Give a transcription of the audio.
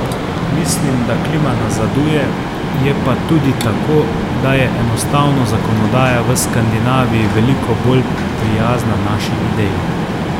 Mislim, da klima nazaduje, je pa tudi tako, da je enostavno zakonodaja v Skandinaviji veliko bolj prijazna naši ideji.